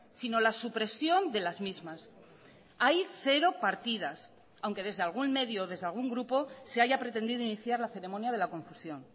sino la supresión de las mismas hay cero partidas aunque desde algún medio desde algún grupo se haya pretendido iniciar la ceremonia de la confusión